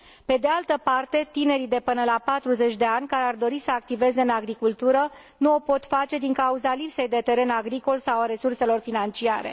Pe de altă parte, tinerii de până la 40 de ani care ar dori să activeze în agricultură nu o pot face din cauza lipsei de teren agricol sau a resurselor financiare.